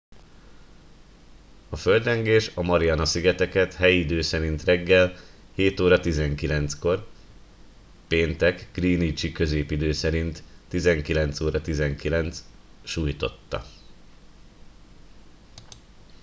a földrengés a mariana-szigeteket helyi idő szerint reggel 07: 19-kor péntek greenwichi középidő szerint 19:19 sújtotta